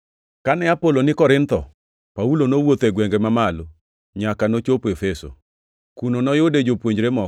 Kane Apolo ni Korintho, Paulo nowuotho e gwenge mamalo, nyaka nochopo Efeso. Kuno noyude jopuonjre moko,